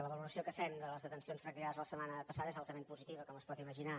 la valoració que fem de les detencions practicades la setmana passada és altament positiva com es pot imaginar